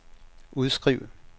udskriv